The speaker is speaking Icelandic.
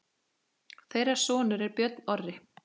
Þeirra sonur er Björn Orri.